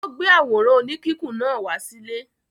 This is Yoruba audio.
Ó gbé àwòrán oníkíkùn náà wá sílé?